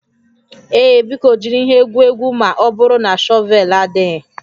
Ee, biko jiri ihe egwu egwu ma ọ bụrụ na shọvel adịghị